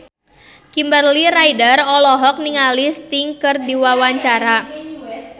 Kimberly Ryder olohok ningali Sting keur diwawancara